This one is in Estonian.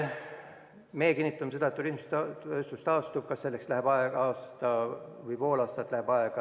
Me kinnitame, et turismitööstus taastub, ükskõik kas selleks läheb aega aasta või pool.